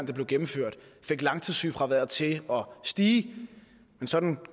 det blev gennemført fik langtidssygefraværet til at stige men sådan